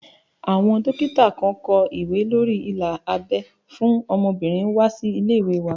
Àwọn dókítà kan kó ìwé lórí ila abẹ́ fún obìnrin wá sí ilé ìwé wa